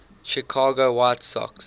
chicago white sox